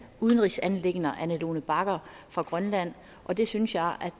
udenrigsanliggender ane lone bagger fra grønland og det synes jeg